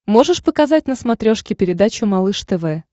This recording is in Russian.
можешь показать на смотрешке передачу малыш тв